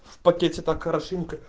в пакете так хорошенько